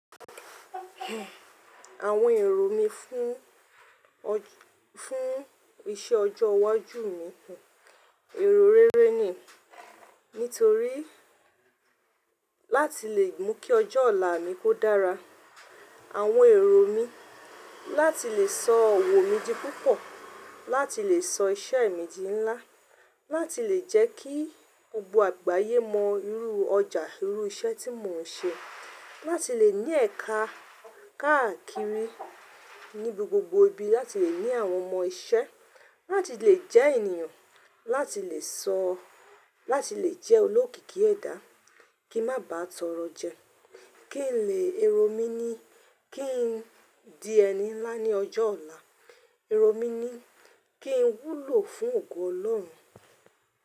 Àwọn èrò mi fún, fún iṣẹ́ ọjọ́ iwájú mi, èrò rere ni. Nítorí láti le mú kí ọjọ́ ọ̀la mi kó dára. Àwọn èrò mi, láti le sọ ọ̀wọ́ mi di púpọ̀, láti le sọ iṣẹ́ mi di ńlá, láti le jẹ́ kí gbogbo àgbáyé mọ irú ọjà, irú iṣẹ́ tí mò ń ṣe, láti le ní ẹ̀ka káàkiri níbi gbogbo ibi, láti le ní àwọn ọmọ iṣẹ́, láti le jẹ́ ènìyàn, láti le sọ, láti le jẹ́ olókìkí ẹ̀dá, kí má bàá tọrọ jẹ, kí n le, èrò mi ni kí n di ẹni ńlá ní ọjọ́ ọ̀la, èrò mi ni kí n wúlò fún ògo Ọlọ́run.